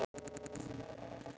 Þú stendur þig vel, Kristberg!